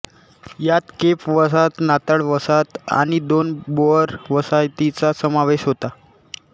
यात केप वसाहत नाताळ वसाहत आणि दोन बोअर वसाहतींचा समावेश होता